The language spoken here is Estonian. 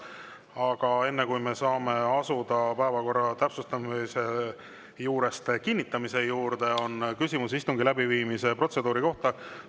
Aga enne, kui me saame asuda päevakorra täpsustamise juurest selle kinnitamise juurde, on küsimus istungi läbiviimise protseduuri kohta.